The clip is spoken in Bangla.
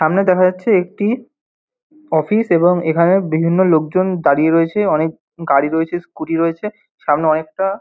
সামনে দেখা যাচ্ছে একটি অফিস এবং এখানে বিভিন্ন লোকজন দাঁড়িয়ে রয়েছে অনেক গাড়ি রয়েছে স্কুটি রয়েছে সামনে অনেকটা--